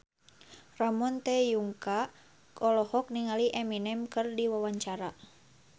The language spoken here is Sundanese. Ramon T. Yungka olohok ningali Eminem keur diwawancara